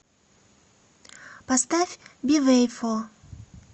поставь бивэйфо